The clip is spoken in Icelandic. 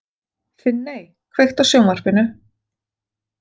Finney, kveiktu á sjónvarpinu.